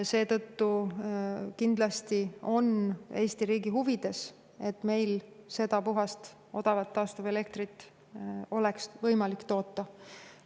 Seetõttu on Eesti riigi huvides kindlasti see, et meil oleks võimalik seda puhast odavat taastuv toota.